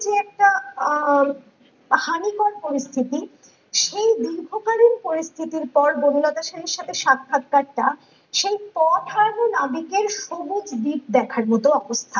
আহ হানিকর পরিস্থিতি সেই দীর্ঘকালীন পরিস্থিতির পর বনলতা সেনের সাথে সাক্ষাৎকারটা সেই পথ হারানো নাবিকের সবুজ দ্বীপ দেখার মতো অবস্থা